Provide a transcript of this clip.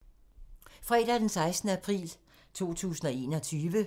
Fredag d. 16. april 2021